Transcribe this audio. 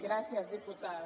gràcies diputada